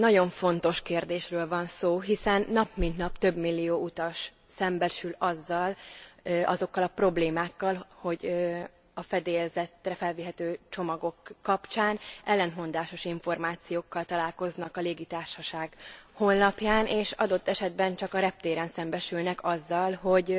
Egy nagyon fontos kérdésről van szó, hiszen nap mint nap több millió utas szembesül azokkal a problémákkal, hogy a fedélzetre felvihető csomagok kapcsán ellentmondásos információkkal találkoznak a légitársaság honlapján, és adott esetben csak a reptéren szembesülnek azzal, hogy